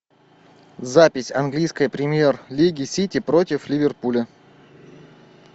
запись английской премьер лиги сити против ливерпуля